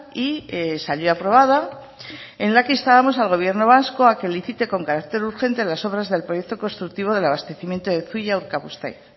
y salió aprobada en la que instábamos al gobierno vasco a que licite con carácter urgente las obras del proyecto constructivo del abastecimiento de zuia urkabustaiz